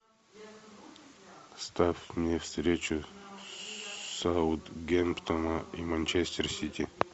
ставь мне встречу саутгемптона и манчестер сити